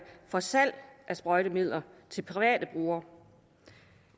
for salg af sprøjtemidler til private brugere